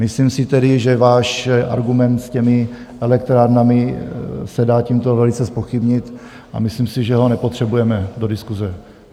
Myslím si tedy, že váš argument s těmi elektrárnami se dá tímto velice zpochybnit, a myslím si, že ho nepotřebujeme do diskuse.